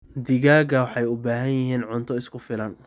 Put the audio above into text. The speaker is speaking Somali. Digaagga waxay u baahan yihiin cunto isku filan.